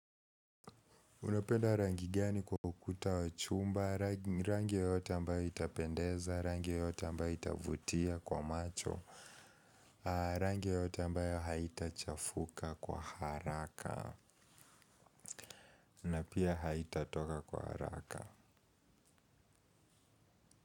Unapenda rangi gani kwa ukuta wa chumba, rangi yoyote ambayo itapendeza, rangi yoyote ambayo itavutia kwa macho, rangi yoyote ambayo haitachafuka kwa haraka na pia haitatoka kwa haraka.